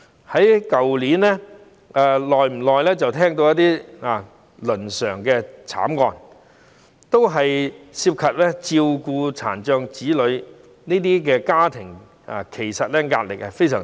去年，不時有倫常慘劇發生，大多涉及照顧殘障子女的家庭，其實這些家庭的壓力非常大。